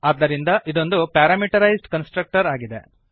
ಆದ್ದರಿಂದ ಇದೊಂದು parameterized constructor ಆಗಿದೆ